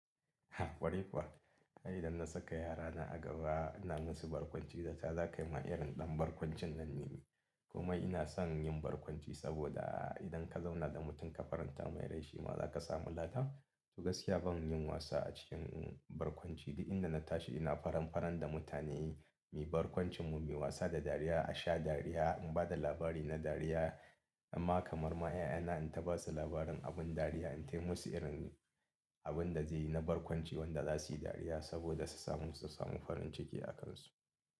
Kwarai, kuwa ai idan na saka yarana a gaba ina musu barkwanci zata za kai ma irin ɗan barkwancin nan ne. Kuma ina son yin barkwanci saboda idan ka zauna da mutum ka faranta mai rai shi ma za ka samu lada. To gaskiya ban yin wasa a cikin barkwanci duk inda na tashi ina faran faran da mutane muyi barkwancin mu, muyi wasa da dariya, a sha dariya, in ba da labari na dariya. Amma kamar ma 'ya'yana in ta ba su labarin abin dariya, in tai musu irin abin da zai yi na barkwanci wanda za su yi dariya saboda su samu farin ciki a kansu.